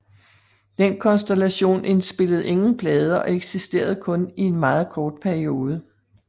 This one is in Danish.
Den konstellation indspillede ingen plader og eksisterede kun i en meget kort periode